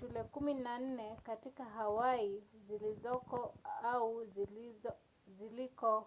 shule kumi na nne katika hawaii zilizoko au zilizo